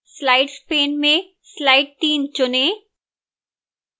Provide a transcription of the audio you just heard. slides pane में slide 3 चुनें